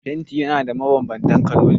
Fanti na da mabanbanta kaloli